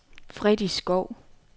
Freddy Schou